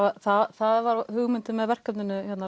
það var hugmyndin með verkefninu